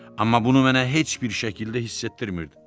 Amma bunu mənə heç bir şəkildə hiss etdirmirdi.